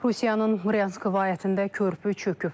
Rusiyanın Bryansk vilayətində körpü çöküb.